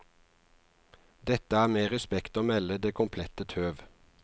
Dette er med respekt å melde det komplette tøv.